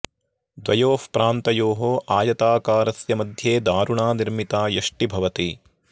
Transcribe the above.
द्वयोः प्रान्तयोः आयताकारस्य मध्ये दारुणा निर्मिता यष्टि भवति